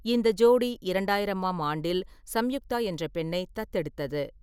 இந்த ஜோடி இரண்டாயிரம் ஆம் ஆண்டில் சம்யுக்தா என்ற பெண்ணை தத்தெடுத்தது.